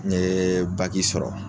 N ɲe baki sɔrɔ.